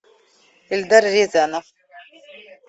эльдар рязанов